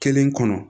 Kelen kɔnɔ